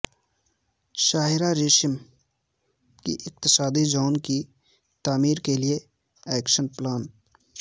شاہراہ ریشم کی اقتصادی زون کی تعمیر کیلئے ایکشن پلان